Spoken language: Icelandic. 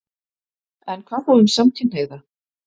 En hvað þá um samkynhneigða?